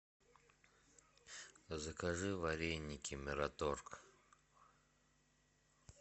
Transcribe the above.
закажи вареники мираторг